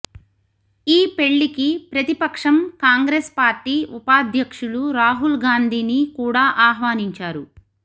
ఈ పెళ్లికి ప్రతిపక్షం కాంగ్రెస్ పార్టీ ఉపాధ్యక్షులు రాహుల్ గాంధీని కూడా ఆహ్వానించారు